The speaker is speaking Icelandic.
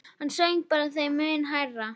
Hann söng bara þeim mun hærra.